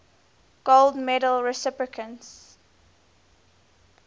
gold medal recipients